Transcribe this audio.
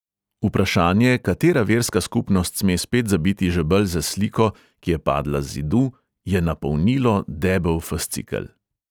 Vprašanje, katera verska skupnost sme spet zabiti žebelj za sliko, ki je padla z zidu, je napolnilo debel fascikel.